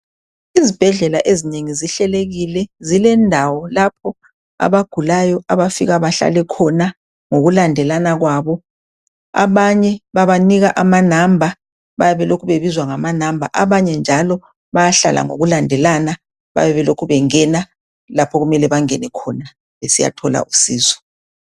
Izibhedlela ezinengi zihlelekile, zilendawo lapho abagulayo abafika bahlale khona ngokulandelana kwabo, abanye babanika amanamba, bayabe belokhe bebizwa ngamanamba, abanye njalo bayahlala ngokulandelana, babe belokhe bengena lapho okumele bangene khona besiyathola usizo.